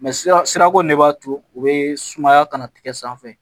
sira sira ko ne b'a to u be sumaya ka na tigɛ sanfɛ